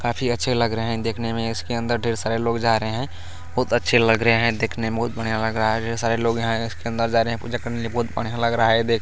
काफी अच्छे लग रहे हैं देखने में इसके अंदर ढेर सारे लोग जा रहे हैं बहुत अच्छे लग रहे हैं देखने में बहुत बढ़िया लग रहा है जो सारे लोग हैं उसके अंदर जा रहे हैं पूजा करने के लिए देखने में बहुत बढ़िया लग रहा है।